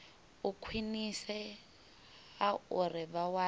u khwinisea uri vha wane